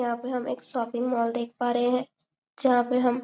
यहाँ पे हम एक शोपिंग मॉल देख पा रहे है जहाँ पे हम--